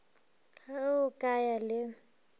ge o ka ya le